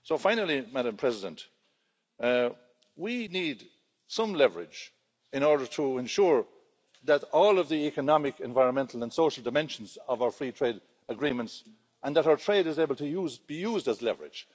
Finally, we need some leverage in order to ensure that all of the economic, environmental and social dimensions of our free trade agreements and that our trade is able to be used as leverage.